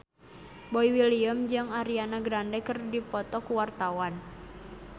Boy William jeung Ariana Grande keur dipoto ku wartawan